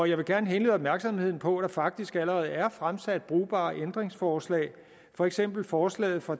jeg vil gerne henlede opmærksomheden på at der faktisk allerede er fremsat brugbare ændringsforslag for eksempel forslaget fra